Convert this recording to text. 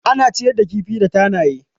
Ana ciyar da kifi da tanaye.